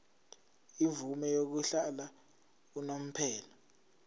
imvume yokuhlala unomphela